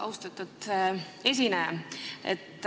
Austatud esineja!